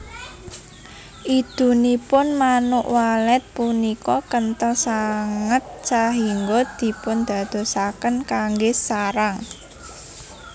Idunipun Manuk Walet punika kenthel sanget sahingga dipundadosaken kanggé sarang